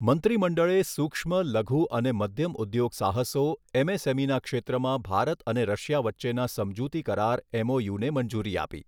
મંત્રીમંડળે સૂક્ષ્મ, લઘુ અને મધ્યમ ઉદ્યોગસાહસો એમએસએમઈના ક્ષેત્રમાં ભારત અને રશિયા વચ્ચેના સમજૂતીકરાર એમઓયુને મંજૂરી આપી.